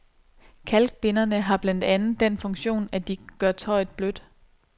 Kalkbinderne har blandt andet den funktion, at de gør tøjet blødt.